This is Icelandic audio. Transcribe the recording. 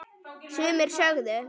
Sumir sögðu: